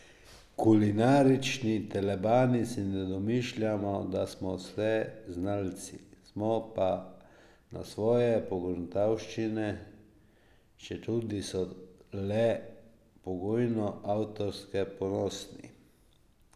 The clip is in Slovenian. Kulinarični telebani si ne domišljamo, da smo vseznalci, smo pa na svoje pogruntavščine, četudi so le pogojno avtorske, ponosni.